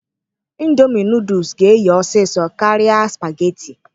Ịndomi nụụdụs ga-eye ọsịsọ karịa spageti.